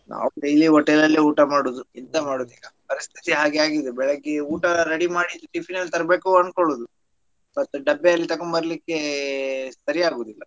ನಾವ್ daily hotel ಅಲ್ಲೇ ಊಟ ಮಾಡುದು ಎಂಥ ಮಾಡುದೀಗ ಪರಿಸ್ಥಿತಿ ಹಾಗೆ ಆಗಿದೆ ಬೆಳಿಗ್ಗೆ ಊಟ ready ಮಾಡಿದ್ tiffin ಎಲ್ಲ ತರ್ಬೇಕು ಅನ್ಕೊಳುದು ಮತ್ತೆ ಡಬ್ಬಿಯಲ್ಲಿ ತಗೊಂಬರ್ಲಿಕ್ಕೇ ಸರಿಯಾಗುದಿಲ್ಲ.